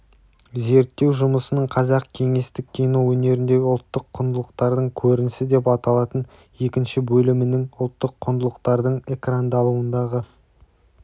зерттеу жұмысының қазақ кеңестік кино өнеріндегі ұлттық құндылықтардың көрінісі деп аталатын екінші бөлімінің ұлттық құндылықтардың экрандалуындағы